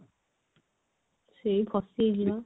ସେ ଫସିଯାଇଛି ବା